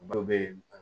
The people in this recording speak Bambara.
Dɔw bɛ